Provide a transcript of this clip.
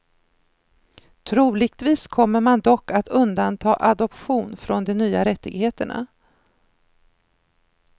Troligtvis kommer man dock att undanta adoption från de nya rättigheterna.